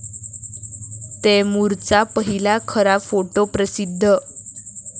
तैमूरचा पहिला खरा फोटो प्रसिध्द